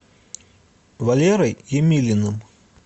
валерой емелиным